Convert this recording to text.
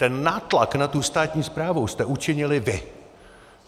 Ten nátlak na tu státní správu jste učinili vy!